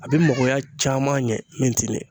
A bɛ mɔgɔya caman ɲɛ min tɛ nin ye